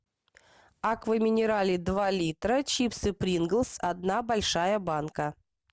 аква минерале два литра чипсы принглс одна большая банка